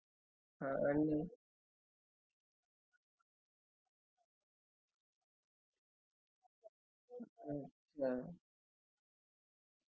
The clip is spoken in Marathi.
पण advance हेच्या मध्ये fridge मध्ये तुम्हाला hot water पण येऊ शिकत आणि fridge मधुन hot water हि एक मुळात advance सुविधा त्यांनी त्याच्यात केली आहे